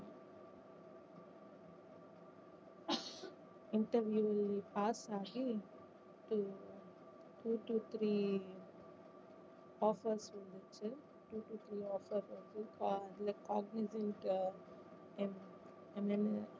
interview pass ஆகி interviewtwo to three offers வந்துச்சு two to three offers வந்து select ஆகி இது என்~ என்னனு